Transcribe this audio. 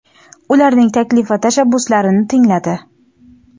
ularning taklif va tashabbuslarini tingladi.